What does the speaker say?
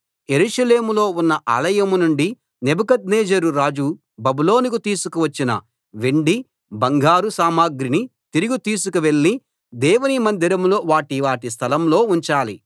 యెరూషలేములో ఉన్న ఆలయం నుండి నెబుకద్నెజరు రాజు బబులోనుకు తీసుకు వచ్చిన వెండి బంగారు సామగ్రిని తిరిగి తీసుకు వెళ్ళి దేవుని మందిరంలో వాటి వాటి స్థలం లో ఉంచాలి